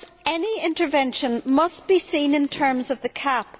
Of course, any intervention must be seen in terms of the CAP.